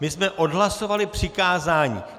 My jsme odhlasovali přikázání.